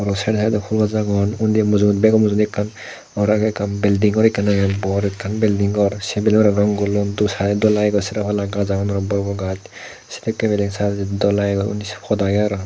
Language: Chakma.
se side odi fhool agon undi mujungedi bego mujungedi ekkan ghor agey ekkan building ghor ekkan agey bor ekkan building ghor se building ghorano gullondi side odi sero palla gaj agon aro bor bor gaj sedekkin building sade dol lagegoi pod agey aro.